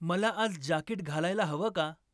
मला आज जाकीट घालायला हवं का ?